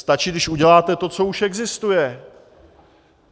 Stačí, když uděláte to, co už existuje.